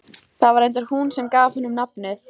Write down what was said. Það var reyndar hún sem gaf honum nafnið.